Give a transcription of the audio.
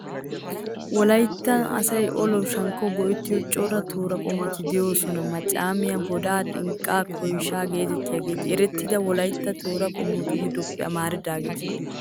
Wolaytta asay olawunne shankkawu go'ettiyo cora tooraa qommoti de"oosona. Maccaamiyaa, bodaa, xinqqaa, Koyshaa geetettiyageeti erettida Wolaytta tooraa qommotu giddoppe amaridaageeta.